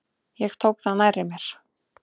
Ég tók það nærri mér.